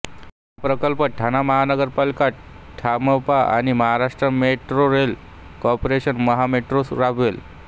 हा प्रकल्प ठाणे महानगरपालिका ठा म पा आणि Maharashtra metro rail corporation Maha metro राबवेल